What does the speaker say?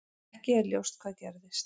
Ekki er ljóst hvað gerðist.